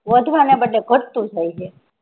વધવા ના બદલે ઘટતું જાય હે